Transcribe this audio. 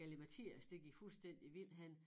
Galimatias det gik fuldstændig vildt hen